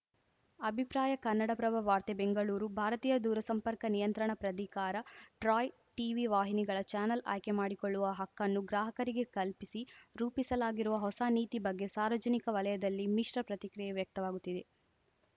ಅಭಿಪ್ರಾಯ ಕನ್ನಡಪ್ರಭ ವಾರ್ತೆ ಬೆಂಗಳೂರು ಭಾರತೀಯ ದೂರಸಂಪರ್ಕ ನಿಯಂತ್ರಣಾ ಪ್ರಧಿಕಾರ ಟ್ರಾಯ್‌ ಟೀವಿ ವಾಹಿನಿಗಳ ಚಾನಲ್‌ ಆಯ್ಕೆ ಮಾಡಿಕೊಳ್ಳುವ ಹಕ್ಕನ್ನು ಗ್ರಾಹಕರಿಗೆ ಕಲ್ಪಿಸಿ ರೂಪಿಸಲಾಗಿರುವ ಹೊಸ ನೀತಿ ಬಗ್ಗೆ ಸಾರ್ವಜನಿಕ ವಲಯದಲ್ಲಿ ಮಿಶ್ರ ಪ್ರತಿಕ್ರಿಯೆ ವ್ಯಕ್ತವಾಗುತ್ತಿದೆ